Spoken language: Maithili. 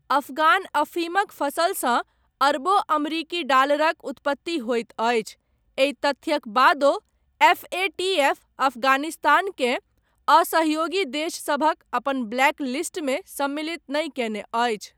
अफगान अफीमक फसलसँ अरबों अमरीकी डालरक उत्पत्ति होयत अछि, एहि तथ्यक बादो एफ. ए. टी. एफ. अफगानिस्तानकेँ असहयोगी देशसभक अपन ब्लैक लिस्टमे सम्मिलित नहि कयने अछि।